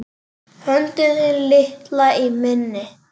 Höndin þín litla í minni.